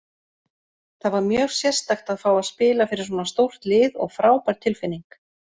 Það var mjög sérstakt að fá að spila fyrir svona stórt lið og frábær tilfinning.